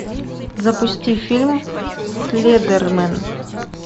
запусти фильм слендермен